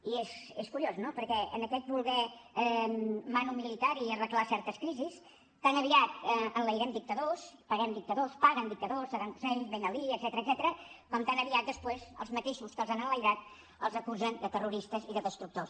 i és curiós no perquè en aquest voler manu militari arreglar certes crisis tan aviat enlairem dictadors paguem dictadors paguen dictadors saddam hussein ben ali etcètera com tan aviat després els mateixos que els han enlairat els acusen de terroristes i de destructors